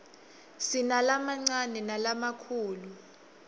sinalamancane nalamakhulu